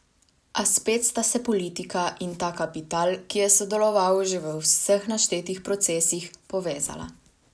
A spet sta se politika in ta kapital, ki je sodeloval že v vseh naštetih procesih, povezala.